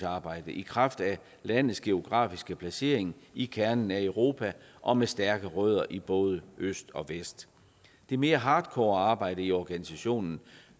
arbejde i kraft af landets geografiske placering i kernen af europa og med stærke rødder i både øst og vest det mere hardcore arbejde i organisationen